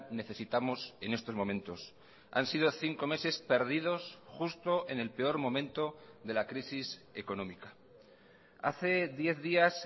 necesitamos en estos momentos han sido cinco meses perdidos justo en el peor momento de la crisis económica hace diez días